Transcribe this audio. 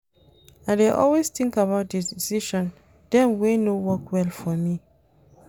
I dey always tink about di decision dem wey no work well for me.